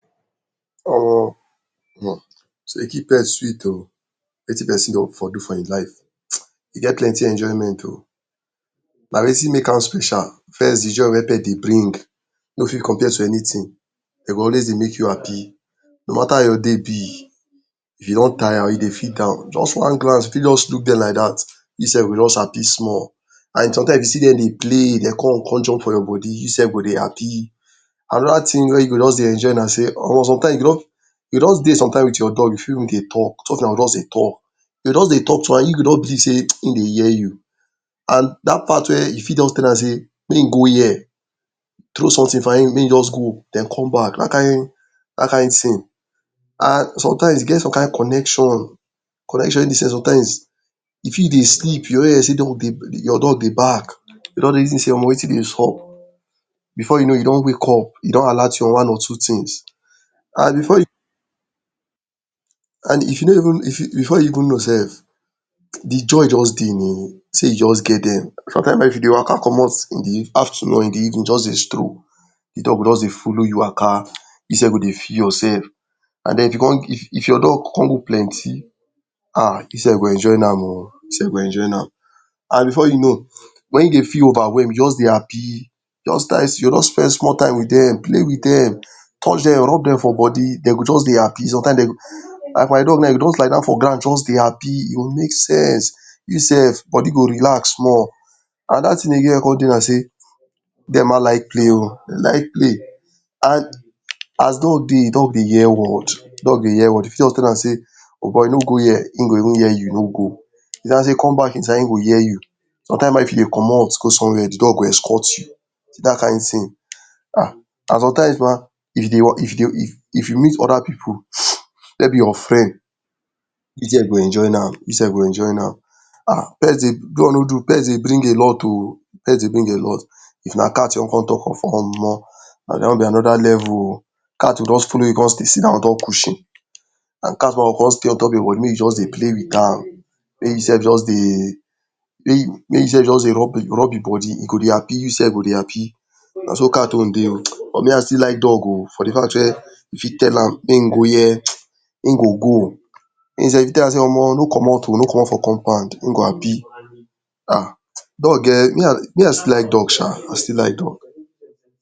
um to dey keep pet sweet o, wetin person for do for im life e get plenty enjoyment o, na wetin make am special? First, de joy wey pet de bring no fit compare to anything, dey go dey always make you happy, no mata how your day be, if you don tire or you dey feel down, just once glance, you fit just look dem like dat, you sef go just happy small and sometimes if you see dem dey play dey come, come jump for your body, you sef go dey happy. Another thing wey you go just dey enjoy na sey, or sometimes you go just dey sometimes with your dog, you fit dey talk, two of e na go just dey talk. You go just dey talk to am you you go just believe sey im dey hear you and dat part wey you fit just tell am sey make im go here, throw something for am make im just go, den come back dat kind, dat kind thing. And sometimes e get some kind connection, connection wey be sey sometimes, you fit dey sleep, you go hear sey dog dey, your dog dey bark, your dog don reason sey wetin dey sup, before you know you don wake up, e don alert you on one or two things and before you and if you no even, before you know sef, de joy just dey sey you just get dem. Sometimes um if you dey waka comot in the in the afternoon or in the evening just dey stroll, de dog go dey follow you waka, you sef go dey feel your sef and den if you if your dog con go plenty um you sef go enjoy am o, you sef go enjoy am and before you know, when you dey feel overwhelm, you go just dey happy, just just spend small time with dem,, play with dem, touch dem, rub dem for body dey go just dey happy sometimes dey um like my dog now, e go just lie down for ground just dey happy, e go make sense. You sef, body go relax small. Another thing again wey con dey na sey, dem um like play, dey like play and as dog dey, dog dey hear word, dog dey hear word. You fit just tell am sey, o boy no go here, im go even here you, no go, you tell am sey come back inside, im go hear you. Sometimes um if you dey comot go somewhere, de dog go escort you, see dat kind thing um and Sometimes um, if you dey, if you dey, if you meet other pipu, maybe your friend, you sef go enjoy am, you sef go enjoy am um pets dey, do or no do, pets dey bring a lot o, pet dey bring alot. If na cat you want con talk of na dat one be another level o, cat go just follow you stay sidon on top cushion and cat um go con stay on top yor body make you just dey play with am, make you sef just dey, make you sef just dey rub rub im body, e go dey happy, you sef go dey happy, na so cat own dey o But me I still like dog o, for de fact where you fit tell am, make im go here, im go go. Even sef, You fit tell am sey no comot o, no comot for compound, im go happy um dog um me i, me i still like dog um, I still like dog.